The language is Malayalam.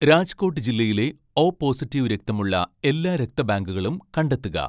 രാജ്കോട്ട് ജില്ലയിലെ ഓ പോസിറ്റീവ് രക്തമുള്ള എല്ലാ രക്തബാങ്കുകളും കണ്ടെത്തുക